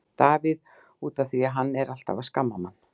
Davíð: Út af því að hann er alltaf að skamma mann.